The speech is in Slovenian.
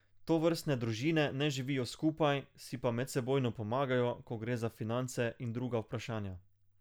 Tovrstne družine ne živijo skupaj, si pa medsebojno pomagajo, ko gre za finance in druga vprašanja.